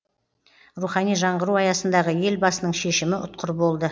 рухани жаңғыру аясындағы елбасының шешімі ұтқыр болды